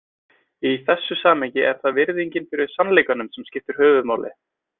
Í þessu samhengi er það virðingin fyrir sannleikanum sem skiptir höfuðmáli.